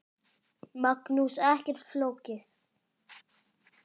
Magnús: Ekkert flókið?